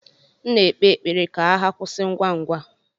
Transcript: M na-ekpe ekpere ka agha kwụsị ngwa ngwa.